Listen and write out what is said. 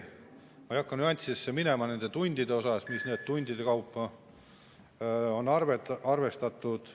Ma ei hakka nüanssidesse minema, kuidas siin tunde on arvestatud.